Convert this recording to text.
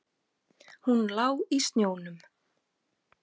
Hún lá í snjónum.